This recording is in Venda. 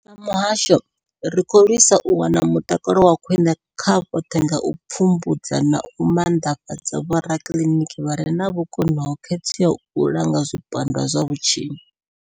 Sa muhasho, ri khou lwisa u wana mutakalo wa khwine kha vhoṱhe nga u pfumbudza na u maanḓafhadza vhorakiliniki vha re na vhukoni ho khetheaho u langa zwipondwa zwa vhutshinyi.